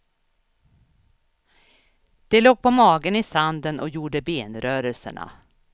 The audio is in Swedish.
De låg på magen i sanden och gjorde benrörelserna.